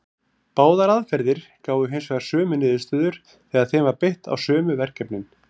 Báðar aðferðir gáfu hins vegar sömu niðurstöður þegar þeim var beitt á sömu verkefnin.